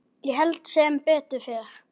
Ég held sem betur fer.